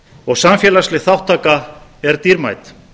og samfélagsleg þátttaka er dýrmæt